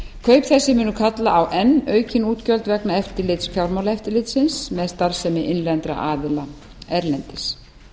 kaup þessi munu kalla á enn aukin útgjöld vegna eftirlits fjármálaeftirlitsins með starfsemi innlendra aðila erlendis